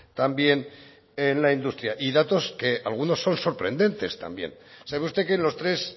también en la industria y datos que algunos son sorprendentes también sabe usted que en los tres